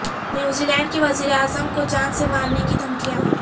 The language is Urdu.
نیوزی لینڈ کی وزیر اعظم کو جان سے مارنے کی دھمکیاں